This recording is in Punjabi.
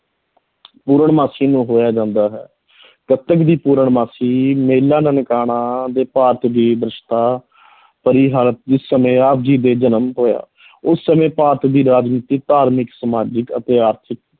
ਪੂਰਨਮਾਸੀ ਨੂੰ ਹੋਇਆ ਜਾਂਦਾ ਹੈ ਕੱਤਕ ਦੀ ਪੂਰਨਮਾਸੀ ਮੇਲਾ ਨਨਕਾਣਾ ਦੇ ਭਾਰਤ ਦੇ ਸਮੇਂ ਆਪ ਜੀ ਦੇ ਜਨਮ ਹੋਇਆ ਉਸ ਸਮੇਂ ਭਾਰਤ ਦੀ ਰਾਜਨੀਤਿਕ, ਧਾਰਮਿਕ, ਸਮਾਜਿਕ ਅਤੇ ਆਰਥਿਕ